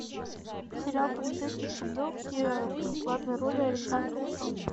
сериал полицейский с рублевки в главной роли александр петров